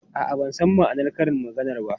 A'a, ban san ma'anar karin maganar ba.